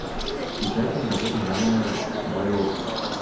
включай киноработу жанра байопик